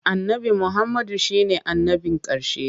Annabi Muhammadu shi ne annabin ƙarshe.